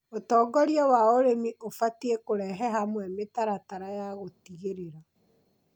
ũtongoria wa ũrĩmi ũbatie kũrehe hamwe mĩtaratara ya gũtigĩrĩra